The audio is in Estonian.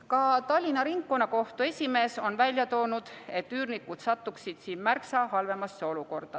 Ka Tallinna Ringkonnakohtu esimees on välja toonud, et üürnikud satuksid sellega märksa halvemasse olukorda.